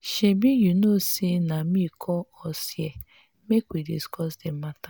shebi you know say na me call us here make we discuss the matter